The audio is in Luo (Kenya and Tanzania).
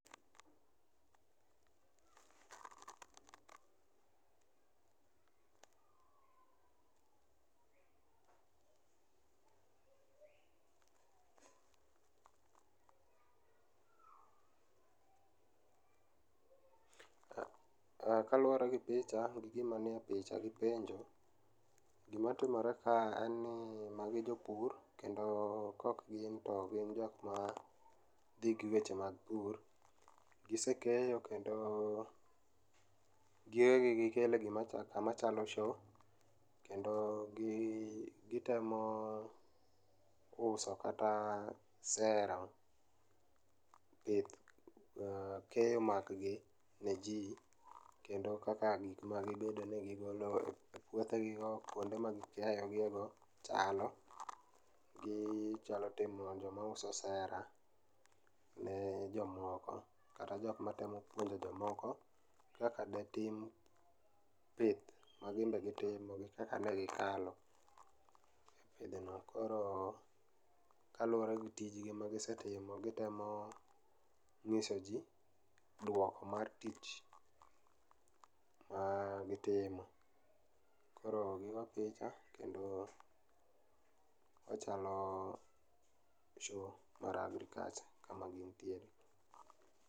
Kaluore gi picha gi gima nie picha gi penjo gima timore ka en ni magi jopur kendo kaok gin to gin jokma dhi gi weche mag pur, gisekeyo kendo gige gigi gikelo e gima chalo, kama chalo show kendo gitemo uso kata sero pith, keyo mag gi ne jii ,kendo kaka gik magibedo negi e puothegi go, kuonde magikeyo gie go chalo gi, chalo timo joma uso sera ne jomoko kata jokma temo yudo jomoko kaka detim pith maginbe gitimo ,kaka negikalo. Koro kaluore gi tijgi magisetimo gitemo nyiso jii duoko mar tich magitimo. Koro gigo picha kendo ochalo show mar agriculture ema gintie